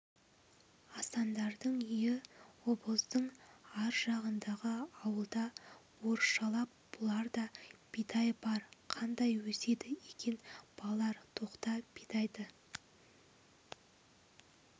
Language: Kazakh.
асандардың үйі обоздың ар жағындағы ауылда орысшалап бұларда бидай бар қандай өседі екен балалар тоқта бидайды